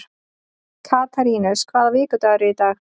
Katarínus, hvaða vikudagur er í dag?